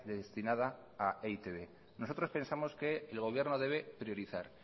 destinada a e i te be nosotros pensamos que el gobierno debe priorizar